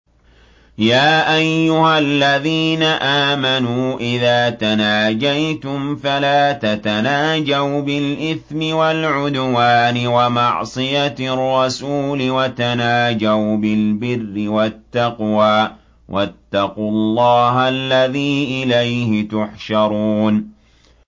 يَا أَيُّهَا الَّذِينَ آمَنُوا إِذَا تَنَاجَيْتُمْ فَلَا تَتَنَاجَوْا بِالْإِثْمِ وَالْعُدْوَانِ وَمَعْصِيَتِ الرَّسُولِ وَتَنَاجَوْا بِالْبِرِّ وَالتَّقْوَىٰ ۖ وَاتَّقُوا اللَّهَ الَّذِي إِلَيْهِ تُحْشَرُونَ